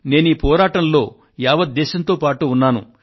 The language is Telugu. నేను ఈ పోరాటంలో యావత్ దేశంతో పాటు ఉన్నాను